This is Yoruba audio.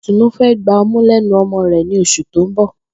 Ìtùnú fé̩ gba o̩mú lénu o̩mo̩ rè̩ ní os̩ù tó ń bò̩